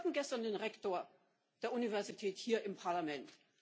Wir hatten gestern den Rektor der Universität hier im Parlament.